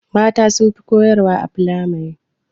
Mata sunfi koyar wa a firamare